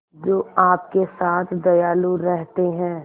जो आपके साथ दयालु रहते हैं